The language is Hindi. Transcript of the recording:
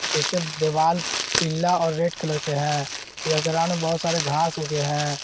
इसके दीवाल पीला और रेड कलर के है यह ग्राउंड में बहुत सारे घास उगे है।